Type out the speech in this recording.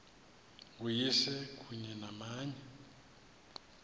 uyise kunye namanye